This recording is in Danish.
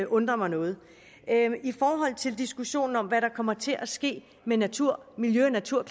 undrer mig noget i forhold til diskussionen om hvad der kommer til at ske med natur natur